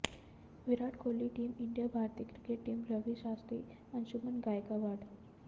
Virat Kohli team India भारतीय cricket team Ravi Shastri Anshuman Gaikwad